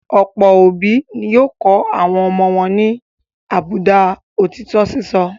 Ọ̀pọ̀ òbí ni yóò kọ́ àwọn ọmọ wọn ní àbùdá òtítọ́ sísọ.